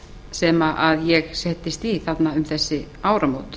sem ég settist í um þessi áramót